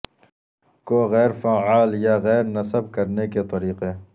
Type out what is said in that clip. کو غیر فعال یا غیر نصب کرنے کے طریقے